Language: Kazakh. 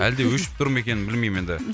әлде өшіп тұр ма екен білмеймін енді